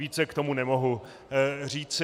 Více k tomu nemohu říci.